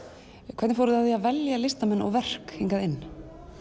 hvernig fóruð þið að því að velja listaverk hingað inn